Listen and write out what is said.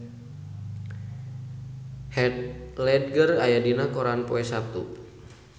Heath Ledger aya dina koran poe Saptu